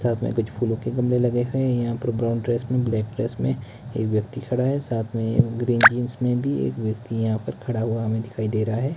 साथ में कुछ फूलों के गमले लगे हैं यहां पर ब्राउन ड्रेस में ब्लैक ड्रेस में एक व्यक्ति खड़ा है साथ में ग्रीन जींस में भी एक व्यक्ति यहां पर खड़ा हुआ हमें दिखाई दे रहा है।